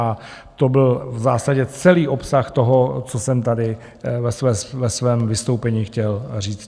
A to byl v zásadě celý obsah toho, co jsem tady ve svém vystoupení chtěl říct.